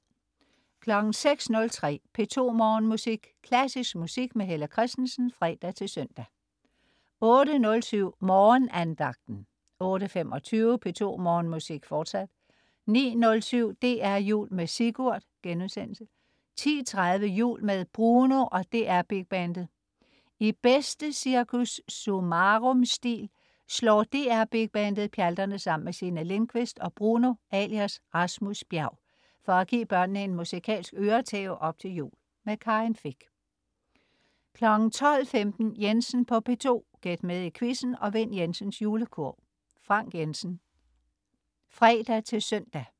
06.03 P2 Morgenmusik. Klassisk musik med Helle Kristensen (fre-søn) 08.07 Morgenandagten 08.25 P2 Morgenmusik, fortsat 09.07 DR Jul med Sigurd* 10.30 Jul med Bruno og DR Big Bandet. I bedste Cirkus Summarum-stil slår DR Big Bandet pjalterne sammen med Signe Lindkvist og Bruno (alias Rasmus Bjerg) for at give børnene en musikalsk øretæve op til jul. Karin Fich 12.15 Jensen på P2. Gæt med i quizzen og vind Jensens Julekurv. Frank Jensen (fre-søn)